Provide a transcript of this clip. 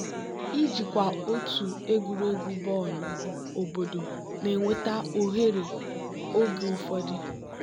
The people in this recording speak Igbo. ijikwa otu egwuregwu bọọlụ obodo na-eweta ohere oge ụfọdụ.